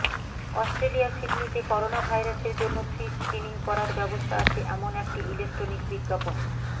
অস্ট্রেলিয়ার সিডনিতে করোনাভাইরাসের জন্য ফ্রি স্ক্রিনিং করার ব্যবস্থা আছে এমন একটি ইলেক্ট্রনিক বিজ্ঞাপন